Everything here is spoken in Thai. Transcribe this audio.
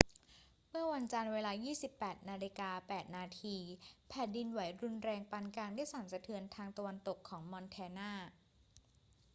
เมื่อวันจันทร์ เวลา 22.08 น แผ่นดินไหวรุนแรงปานกลางได้สั่นสะเทือนทางตะวันตกของมอนแทนา